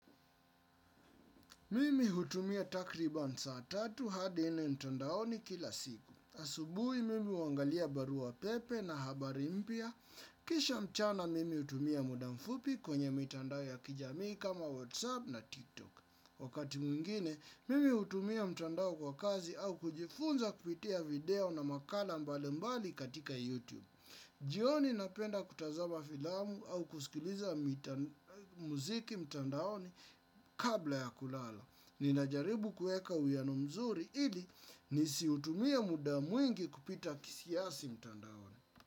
Mimi hutumia takriban saa tatu hadi nne mtandaoni kila siku. Asubui mimi huangalia barua pepe na habari mpya. Kisha mchana mimi hutumia muda mfupi kwenye mtandao ya kijamii kama Whatsapp na TikTok. Wakati mwingine, mimi hutumia mtandao kwa kazi au kujifunza kupitia video na makala mbali mbali katika YouTube. Jioni napenda kutazama filamu au kusikiliza muziki mtandaoni kabla ya kulala. Ninajaribu kueka uwiano mzuri ili nisiutumie muda mwingi kupita kiasi mtandaoni.